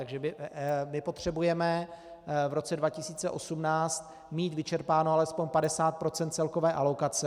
Takže my potřebujeme v roce 2018 mít vyčerpáno alespoň 50 % celkové alokace.